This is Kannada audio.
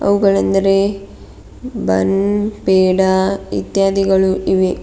ಅವುಗಳೆಂದರೆ ಬನ್ ಪೇಡಾ ಇತ್ಯಾದಿಗಳು ಇವೆ.